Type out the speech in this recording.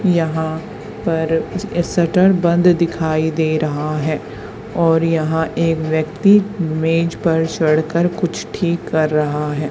यहां पर शटर बंद दिखाई दे रहा है और यहां एक व्यक्ति मेज पर चढ़कर कुछ ठीक कर रहा है।